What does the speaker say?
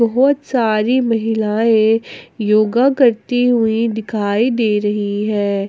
बहोत सारी महिलाएं योगा करती हुई दिखाई दे रही है।